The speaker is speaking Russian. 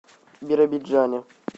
биробиджане